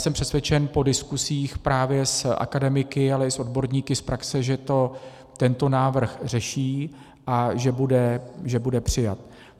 Jsem přesvědčen po diskuzích právě s akademiky, ale i s odborníky z praxe, že to tento návrh řeší a že bude přijat.